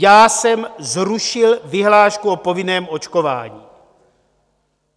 Já jsem zrušil vyhlášku o povinném očkování.